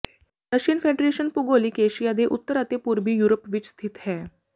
Russian federation ਭੂਗੋਲਿਕ Asia ਦੇ ਉੱਤਰ ਅਤੇ ਪੂਰਬੀ ਯੂਰਪ ਵਿੱਚ ਸਥਿਤ ਹੈ